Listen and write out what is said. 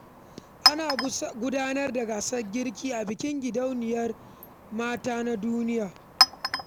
Ana gudanar da gasar girki a bikin Gidauniyar Mata domin ƙarfafa sana’a.